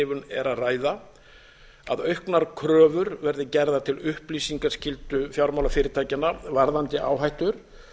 er að ræða að auknar kröfur verði gerðar til upplýsingaskyldu fjármálafyrirtækjanna varðandi áhættur